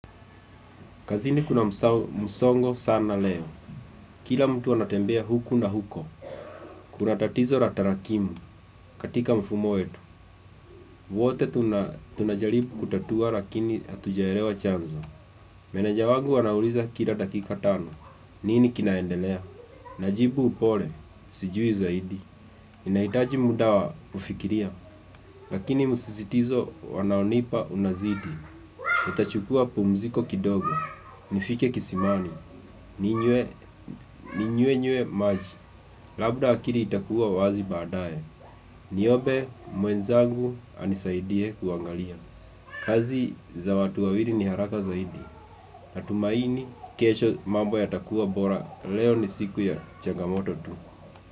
Kazini kuna msongo sana leo, kila mtu anatembea huku na huko Kuna tatizo la tarakimu katika mfumo wetu wote tunajaribu kutatua lakini hatujaelewa chanzo Meneja wagu anauliza kila dakika tano, nini kinaendelea? Najibu upole, sijui zaidi Inahitaji muda wa kufikiria, lakini msisitizo wanaonipa unazidi nitachukua pumziko kidogo, nifike kisimani Ninywe maji, labda akili itakuwa wazi baadaye Niombe mwenzangu anisaidie kuangalia kazi za watu wawili ni haraka zaidi Natumaini kesho mambo yatakuwa bora, leo ni siku ya changamoto tu.